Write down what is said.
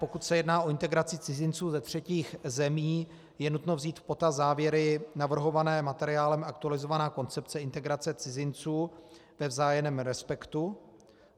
Pokud se jedná o integraci cizinců ze třetích zemí, je nutno vzít v potaz závěry navrhované materiálem Aktualizovaná koncepce integrace cizinců ve vzájemném respektu.